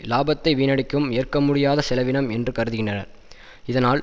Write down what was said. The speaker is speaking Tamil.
இலாபத்தை வீணடிக்கும் ஏற்கமுடியாத செலவினம் என்று கருதுனர் இதனால்